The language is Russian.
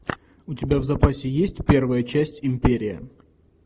у тебя в запасе есть первая часть империя